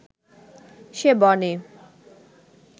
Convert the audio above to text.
সে বনে